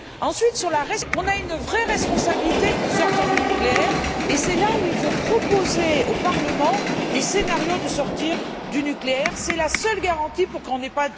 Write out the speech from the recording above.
Ensuite, on a une vraie responsabilité pour sortir du nucléaire, et c'est là où il faut proposer au Parlement des scénarios pour sortir du nucléaire. C'est la seule garantie pour qu'on n'ait pas de nouvel accident.